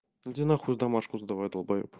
иди нахуй домашку сдавай долбоеб